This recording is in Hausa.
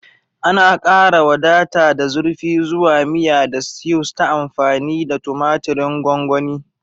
Ana ƙara wadata da zurfi zuwa miya da stews ta amfani da tumatirin gongoni.